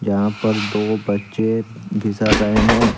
यहां पर दो बच्चे फिसल रहे हैं।